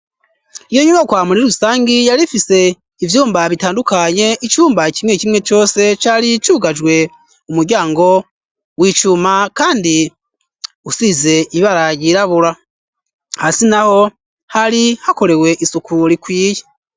Iyo nyumwa kwa murira rusangi yarifise ivyumba bitandukanye icumba kimwe kimwe cose cari cugajwe umuryango wicuma, kandi usize ibara ryirabura hasi na ho hari hakorewe isuku rikwiye.